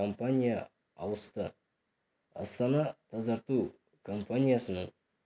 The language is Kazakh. компания ауысты астана-тазарту компаниясының